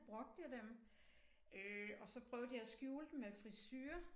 Brugte jeg dem øh og så prøvede jeg at skjule dem med frisure